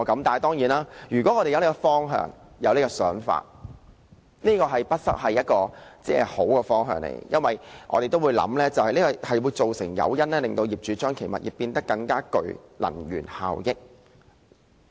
當然，如果我們有這種想法，也不失為一個好的方向，因為這個提供誘因，令業主使其物業變得更具能源效益。